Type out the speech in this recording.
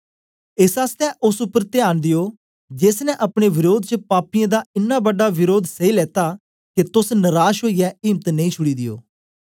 एस आसतै ओस उपर त्यान दियो जेस ने अपने वरोध च पापियें दा इन्ना बड़ा वरोध सैई लेता के तोस नराश ओईयै इम्त नेई छुड़ी दियो